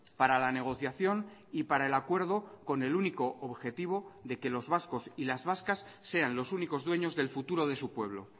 para la negociación y para el acuerdo con el único objetivo de que los vascos y las vascas sean los únicos dueños del futuro de su pueblo